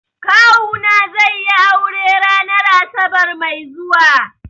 Kawuna zai yi aure ranar asabar mai zuwa.